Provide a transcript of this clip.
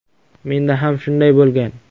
Menda ham shunday bo‘lgan.